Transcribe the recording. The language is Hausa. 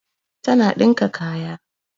Tana dinka kaya